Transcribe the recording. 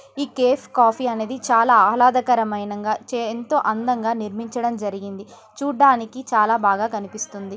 ఈ cafe coffee అనేది చాలా ఆహ్లాదకరంగా ఎంతో అందంగా నిర్మించడం జరిగింది .చూడ్డానికి చాలా బాగా కనిపిస్తుంది.